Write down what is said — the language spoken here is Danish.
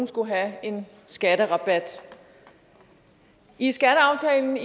skulle have en skatterabat i skatteaftalen